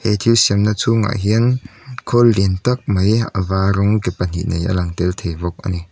he thil siamna chhungah hian khawl lian tak mai a var rawng ke pahnih nei a lang tel thei bawk a ni.